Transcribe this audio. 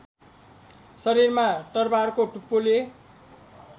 शरीरमा तरवारको टुप्पोले